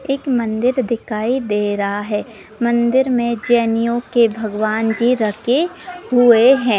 एक मंदिर दिखाई दे रहा है मंदिर में जैनियों के भगवान जी रखे हुए हैं।